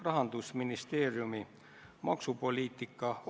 Juhatus on kollegiaalne organ, mis koosneb kolmest liikmest.